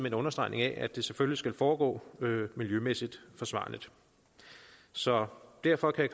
en understregning af at det selvfølgelig skal foregå miljømæssigt forsvarligt så derfor kan